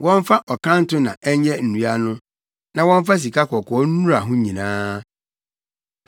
Wɔmfa ɔkanto na ɛnyɛ nnua no, na wɔmfa sikakɔkɔɔ nnura ho nyinaa.